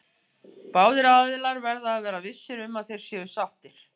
Báðir aðilar verða að vera vissir um að þeir séu sáttir.